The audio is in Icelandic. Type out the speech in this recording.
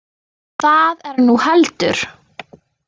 Það er nú heldur.